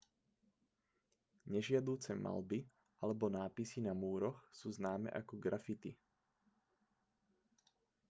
nežiaduce maľby alebo nápisy na múroch sú známe ako graffiti